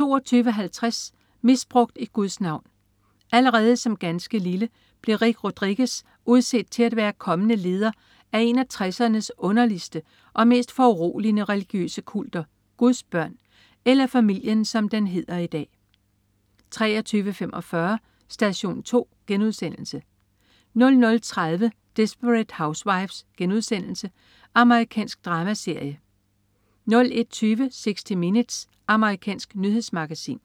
22.50 Misbrugt i Guds navn. Allerede som ganske lille blev Rick Rodriguez udset til at være kommende leder af en af 1960'ernes underligste og mest foruroligende religiøse kulter, Guds Børn, eller Familien, som den hedder i dag 23.45 Station 2* 00.30 Desperate Housewives.* Amerikansk dramaserie 01.20 60 Minutes. Amerikansk nyhedsmagasin